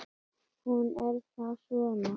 Hún er þá svona!